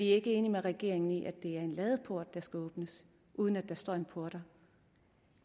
ikke enige med regeringen i at det er en ladeport der skal åbnes uden at der står en portner